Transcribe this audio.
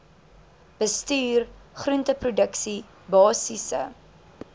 bestuur groenteproduksie basiese